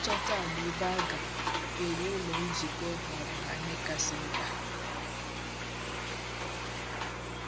Ịchọta ala ebe a ga - ewu Ụlọ Nzukọ ghọọrọ ha ihe kasị mkpa.